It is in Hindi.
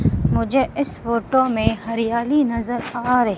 मुझे इस फोटो में हरियाली नजर आ रही --